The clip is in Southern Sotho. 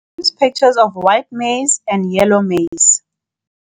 Use pictures of white maize and yellow maize